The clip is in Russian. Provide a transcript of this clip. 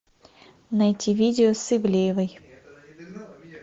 найти видео с ивлеевой